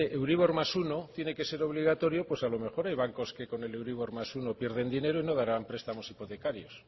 euribor más uno tiene que ser obligatorio pues a los mejor el banco es que con el euribor más uno pierde el dinero y no darán prestamos hipotecarios